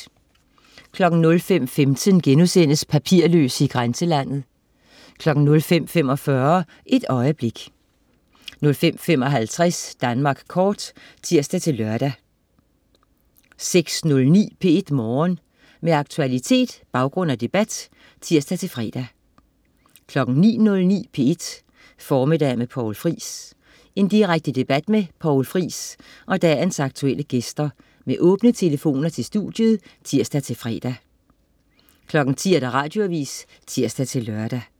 05.15 Papirløse i grænselandet* 05.45 Et øjeblik 05.55 Danmark kort (tirs-lør) 06.09 P1 Morgen. Med aktualitet, baggrund og debat (tirs-fre) 09.09 P1 Formiddag med Poul Friis. Direkte debat med Poul Friis og dagens aktuelle gæster med åbne telefoner til studiet (tirs-fre) 10.00 Radioavis (tirs-lør)